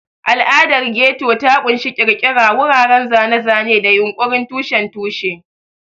Al'adar Ghetto ta ƙunshi ƙirƙira, wuraren zane-zane, da yunƙurin tushen tushe.